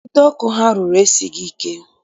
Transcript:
Ide ọkụ ha rụrụ, esighị ike